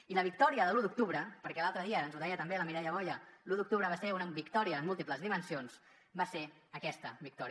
i la victòria de l’u d’octubre perquè l’altre dia ens ho deia també la mireia boya l’u d’octubre va ser una victòria en múltiples dimensions va ser aquesta victòria